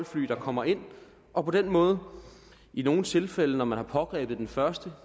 fly der kommer ind og på den måde i nogle tilfælde når man har pågrebet den første